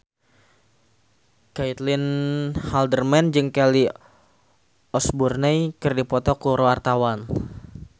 Caitlin Halderman jeung Kelly Osbourne keur dipoto ku wartawan